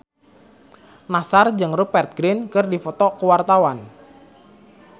Nassar jeung Rupert Grin keur dipoto ku wartawan